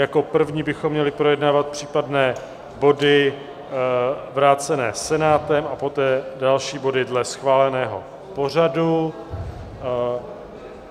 Jako první bychom měli projednávat případné body vrácené Senátem a poté další body dle schváleného pořadu.